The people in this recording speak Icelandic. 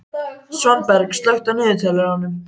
Svanberg, slökktu á niðurteljaranum.